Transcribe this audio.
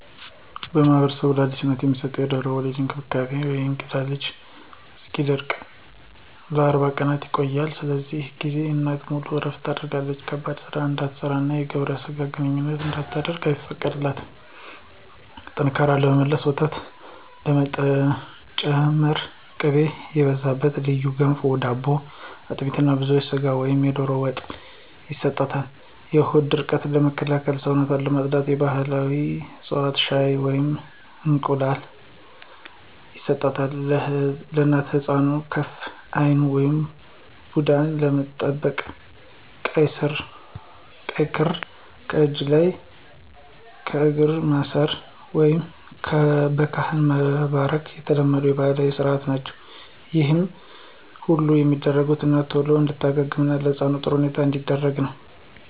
በማኅበረሰባችን ለአዲስ እናት የሚሰጠው የድህረ-ወሊድ እንክብካቤ (የእንግዴ ልጁ እስኪወድቅ) ለ40 ቀናት ይቆያል። በዚህ ጊዜ እናት ሙሉ እረፍት ታደርጋለች ከባድ ሥራ እንድትሠራና የግብረ ሥጋ ግንኙነት እንድታደርግ አይፈቀድላትም። ጥንካሬ ለመመለስና ወተት ለመጨመር ቅቤ የበዛበት ልዩ ገንፎ/ዳቦ፣ አጥሚት እና ብዙ ሥጋ ወይም ዶሮ ወጥ ይሰጣል። የሆድ ቁርጠትን ለማስታገስና ሰውነትን ለማፅዳት የባሕላዊ ዕፅዋት ሻይ ወይንም እንስላል ይሰጣታል። እናትና ሕፃኑን ከክፉ ዓይን (ቡዳ) ለመጠበቅ ቀይ ክር ለእጅ ወይም ለእግር ማሰር፣ ወይም በካህን መባረክ የተለመዱ ባሕላዊ ሥርዓቶች ናቸው። ይህ ሁሉ የሚደረገው እናት ቶሎ እንድትድንና ሕፃኑ በጥሩ ሁኔታ እንዲያድግ ነው።